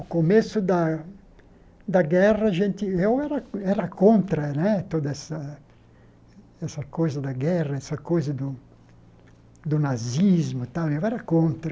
O começo da da guerra, a gente eu era contra né toda essa essa coisa da guerra, essa coisa do do nazismo tal, eu era contra.